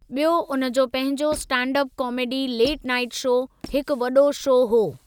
ॿियो उन जो पंहिंजो stand up comedy late night show हिकु वॾो शो हो।